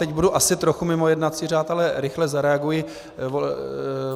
Teď budu asi trochu mimo jednací řád, ale rychle zareaguji.